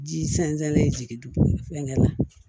Ji sɛnsɛn jigin dugu fɛngɛ la